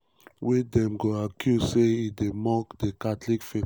wey dem go accuse say e dey mock di catholic faith.